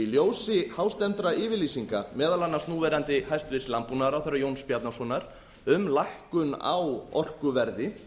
ljósi hástemmdra yfirlýsinga meðal annars núverandi hæstvirtur landbúnaðarráðherra jóns bjarnasonar um lækkun á orkuverði